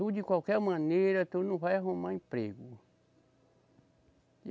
Tu, de qualquer maneira, tu não vai arrumar emprego.